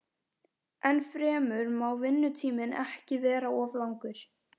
Ennfremur má vinnutíminn ekki vera of langur.